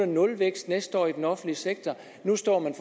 nulvækst næste år i den offentlige sektor nu står man